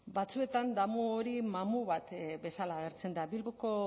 batzuetan damu hori mamu bat bezala agertzen da bilboko